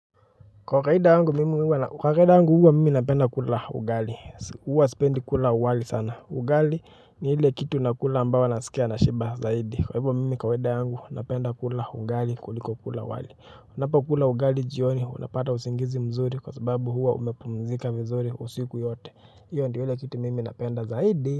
Kwa kawaida yangu mimi huwa na kwa kawaida yangu huwa mimi napenda kula ugali huwa sipendi kula wali sana ugali ni ile kitu nakula ambayo kwa kwa kwa kwa kwa kwa kwa kwa kwa kwa kwa kwa kawaida yangu napenda kula ugali kuliko kula wali napokula ugali jioni unapata usingizi mzuri kwa sababu huwa umepumzika vizuri usiku yote io ndo ile kitu mimi napenda zaidi.